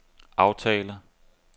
aftale